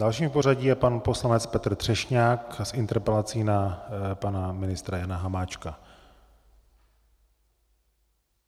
Dalším v pořadí je pan poslanec Petr Třešňák s interpelací na pana ministra Jana Hamáčka.